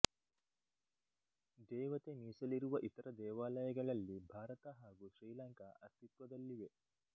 ದೇವತೆ ಮೀಸಲಿರುವ ಇತರ ದೇವಾಲಯಗಳಲ್ಲಿ ಭಾರತ ಹಾಗು ಶ್ರೀಲಂಕಾ ಅಸ್ತಿತ್ವದಲ್ಲಿವೆ